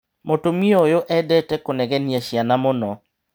Mũtumia ũyũ endete kũnegenia ciana mũno.